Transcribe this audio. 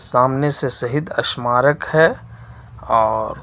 सामने से शहीद स्मारक है और--